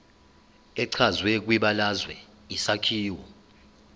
echazwe kwibalazwe isakhiwo